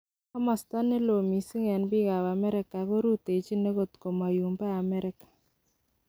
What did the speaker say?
Komosto ne loo mising' en biik ab America korutechi ogot kumoyobo America.